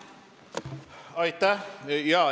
Aitäh!